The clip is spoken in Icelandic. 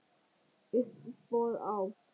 Uppboð á